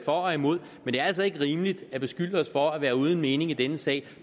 og imod men det er altså ikke rimeligt at beskylde os for at være uden mening i denne sag